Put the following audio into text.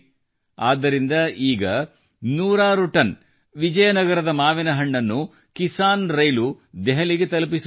ಆದ್ದರಿಂದ ಈಗ ನೂರಾರು ಟನ್ ವಿಜಯನಗರದ ಮಾವಿನ ಹಣ್ಣನ್ನು ಕಿಸಾನ್ರೈಲು ದೆಹಲಿಗೆ ತಲುಪಿಸುತ್ತಿದೆ